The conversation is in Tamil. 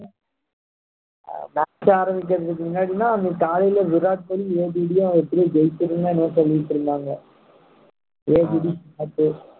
first ஆரம்பிக்கிறதுக்கு முன்னாடின்னா காலைல விராத் கோலி ABD எப்படியும் ஜெயிச்சுரும்னோ என்னவோ சொல்லிட்டு இருந்தாங்க ABD out